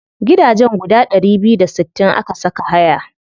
Gidajen guda ɗari biyu da sittin aka saka haya.